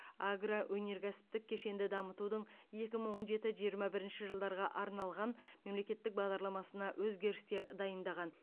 агроөнеркәсіптік кешенді дамытудың екі мың он жеті жиырма бірінші жылдарға арналған мемлекеттік бағдарламасына өзгерістер дайындаған